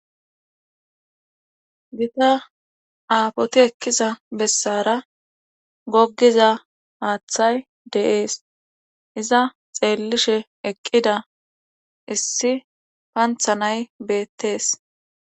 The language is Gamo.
Gita aafoti ekkiza bessaara goggiza haathay de7ees iza xeellishe eqqida issi pantha nay beettes.